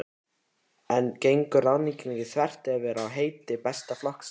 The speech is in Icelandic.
En gengur ráðningin ekki þvert á fyrirheit Besta flokksins?